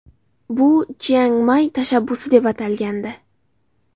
Bu Chiangmay tashabbusi deb atalgandi.